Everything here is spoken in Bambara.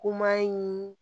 in